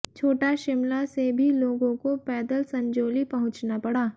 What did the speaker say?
छोटा शिमला से भी लोगों को पैदल संजौली पहुंचना पड़ा